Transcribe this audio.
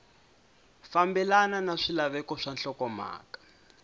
fambelana na swilaveko swa nhlokomhaka